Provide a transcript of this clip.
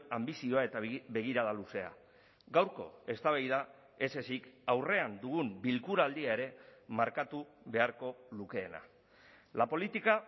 anbizioa eta begirada luzea gaurko eztabaida ez ezik aurrean dugun bilkura aldia ere markatu beharko lukeena la política